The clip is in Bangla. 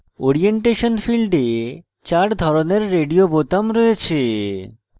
orientation ফীল্ডে চার ধরনের radio রয়েছে: